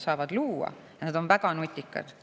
Need inimesed on väga nutikad.